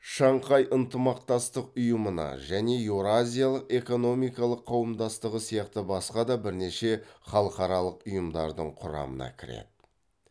шанхай ынтымақтастық ұйымына және еуразиялық экономикалық қауымдастығы сияқты басқа да бірнеше халықаралық ұйымдардың құрамына кіреді